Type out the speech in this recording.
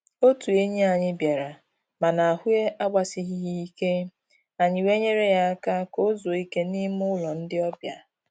Otụ enyi anyị bịara, mana ahụ agbasighị ya ike, anyị wee nyere ya aka ka o zuo ike n'ime ụlọ ndị ọbịa.